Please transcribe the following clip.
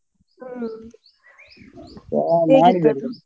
ಹ್ಮ್ nonHumanHocal